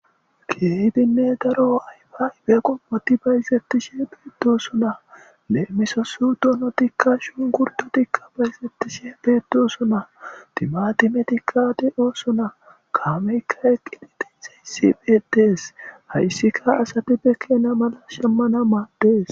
Keehidune daro ayfa yfe qomot bayzetishe dosona.lemisos donotika shunkuritetika bayzetishe dosona, timatimetika de'osona,kameyka eqid de'izays betes.haysika asat be keena mala shamana mades.